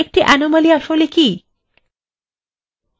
একটি anomaly আসলে কি